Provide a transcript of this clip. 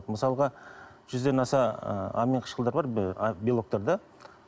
мысалға жүзден аса ы амин қышқылдары бар белоктар да